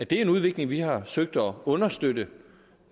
det er en udvikling vi har søgt at understøtte